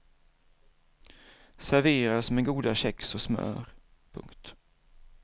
Serveras med goda kex och smör. punkt